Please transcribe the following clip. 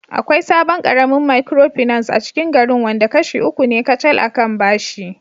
Akwai sabon karamin Micropinace acikin garin wanda kashi uku ne kacal a kan bashi